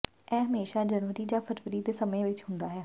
ਇਹ ਹਮੇਸ਼ਾ ਜਨਵਰੀ ਜਾਂ ਫ਼ਰਵਰੀ ਦੇ ਸਮੇਂ ਵਿੱਚ ਹੁੰਦਾ ਹੈ